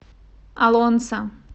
олонца